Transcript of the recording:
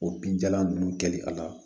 O binjalan ninnu kɛli a la